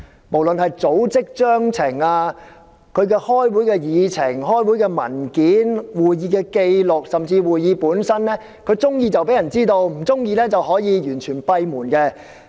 無論是組織章程、會議的議程、文件、紀錄甚至是過程，喜歡便公開，不喜歡便可以閉門進行。